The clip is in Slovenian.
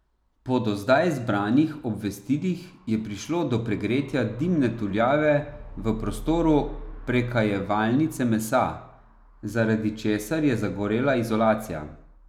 Po do zdaj zbranih obvestilih je prišlo do pregretja dimne tuljave v prostoru prekajevalnice mesa, zaradi česar je zagorela izolacija.